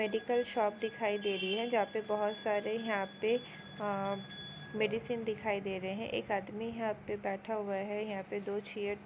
Medical shop दिखाई दे रही है जहां पर बहुत सारे यहां पर मेडिसिन दिखाई दे रहे हैं एक आदमी है आप पर बैठा हुआ है। यहां पर दो चेयर --